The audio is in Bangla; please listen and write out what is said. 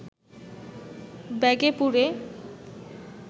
ব্যাগে পুরে